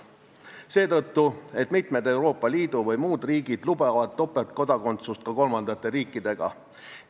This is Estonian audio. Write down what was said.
Seda seetõttu, et mitmed Euroopa Liidu või muud riigid lubavad topeltkodakondsust ka kolmandate riikidega.